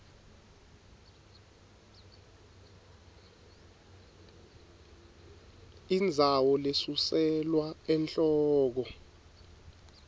indzawo lesuselwa enhloko